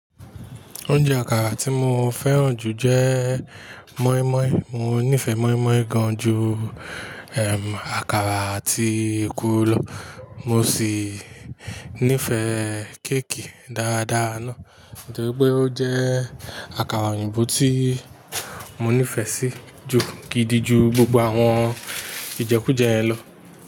Oúnjẹ àkàrà tí mo fẹ́ràn jù jẹ́ moinmoin. Mo nífẹ̀ẹ́ moinmoin gan ju àkàrà àti ekuru lọ. Mo sì nífẹ̀ẹ́ kékì dáadáa náà, torípé ó jẹ́ àkàrà òyìnbó tí mo nífẹ̀ẹ́ sí ju gidi ju gbogbo àwọn ìjẹkújẹ yen lọ.